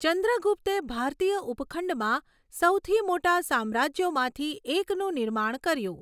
ચંદ્રગુપ્તે ભારતીય ઉપખંડમાં સૌથી મોટા સામ્રાજ્યોમાંથી એકનું નિર્માણ કર્યું.